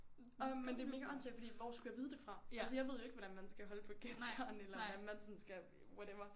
Men det er mega åndssvagt fordi hvor skulle jeg vide det fra? Altså jeg ved ikke hvordan jeg skal holde på ketsjeren eller hvad man sådan skal whatever